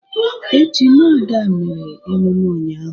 Ejima Ada mere emume ụnyahụ.